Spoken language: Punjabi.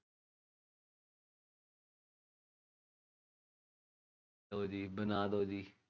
ਬਣਾ ਲਉ ਜੀ